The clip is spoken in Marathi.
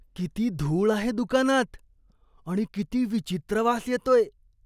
किती धूळ आहे दुकानात आणि किती विचित्र वास येतोय.